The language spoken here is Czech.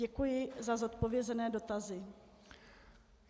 Děkuji za zodpovězené dotazy.